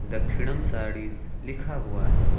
दक्षिणम साडीज लिखा हुआ है।